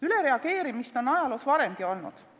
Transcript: Ülereageerimist on ajaloos varemgi olnud.